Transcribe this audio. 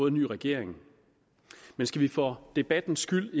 en ny regering men skal vi for debattens skyld